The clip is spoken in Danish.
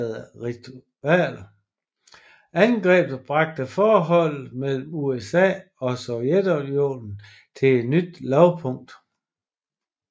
Angrebet bragte forholdet mellem USA og Sovjetunionen til et nyt lavpunkt